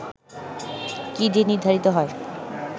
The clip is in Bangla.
কী দিয়ে নির্ধারিত হয়